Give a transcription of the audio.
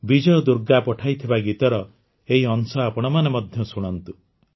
ବିଜୟ ଦୁର୍ଗା ପଠାଇଥିବା ଗୀତର ଏହି ଅଂଶ ଆପଣମାନେ ମଧ୍ୟ ଶୁଣନ୍ତୁ